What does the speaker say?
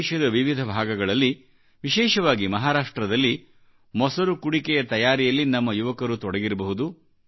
ದೇಶದ ವಿವಿಧಭಾಗಗಳಲ್ಲಿ ವಿಶೇಷವಾಗಿ ಮಹಾರಾಷ್ಟ್ರದಲ್ಲಿ ಮೊಸರು ಕುಡಿಕೆಯ ತಯಾರಿಯಲ್ಲಿ ನಮ್ಮ ಯುವಕರು ತೊಡಗಿರಬಹುದು